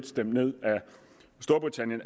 stemt ned